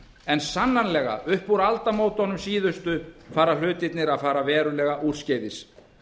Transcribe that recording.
en sannar lega upp úr aldamótunum síðustu fara hlutirnir að fara verulega úrskeiðis